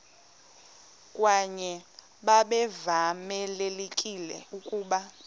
kwaye babevamelekile ukuba